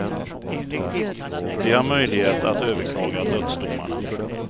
De har möjlighet att överklaga dödsdomarna.